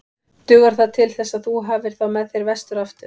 Dugar það til þess að þú hafir þá með þér vestur aftur?